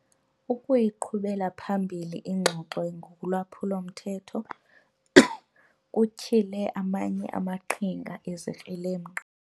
Ukuyiqhubela phambili ingxoxo ngolwaphulo-mthetho kutyhile amanye amaqhinga ezikrelemnqa.